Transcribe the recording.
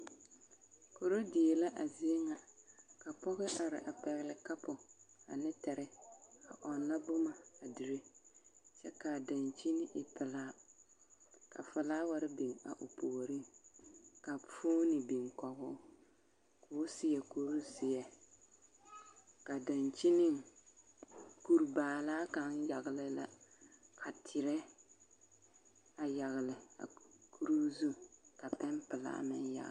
Koridie la a zie ŋa ka pɔge are a pɛgle kapo ane tere a ɔnnɔ boma a dire kyɛ ka a daŋkyini e pelaa ka felaware biŋ a o puoriŋ ka foni biŋ kɔge o ka o seɛ kuri zeɛ ka daŋkyini kuri baalaa kaŋa yagle la ka terɛ a yɔgle a kuree zu ka pɛmpelaa meŋ yagle.